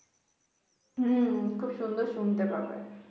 উম খুব সুন্দর শুনতে পাবে